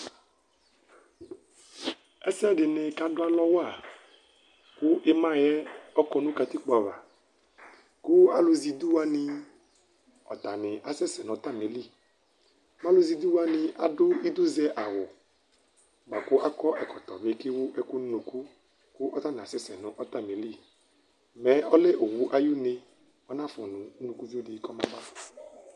Ɛsɛ dini kadʋ alɔwa kʋ imayɛ ɔkɔ nʋ katikpo ava Kʋ alʋzɛidʋ wani atani asɛsɛ nʋ atamili, alʋzɛidʋ wani adʋ idʋzɛawʋ bʋakʋ akɔ ɛkɔtɔ bi kʋ ewʋ ɛkʋ nʋ ʋnʋkʋ kʋ atani asɛsɛ nʋ atalili Mɛ ɔlɛ owʋ ayʋ une anafʋ nʋ ʋnʋkʋvio di kɔmaba